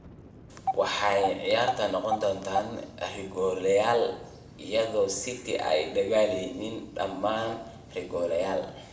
waxayna ciyaartu noqotay rigooreyaal iyadoo City ay dhaliyeen dhamaan rigooreyaal.